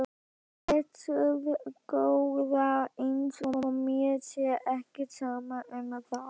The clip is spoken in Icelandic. Blessuð góða. eins og mér sé ekki sama um það!